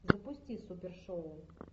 запусти супер шоу